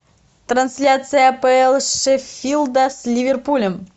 трансляция апл шеффилда с ливерпулем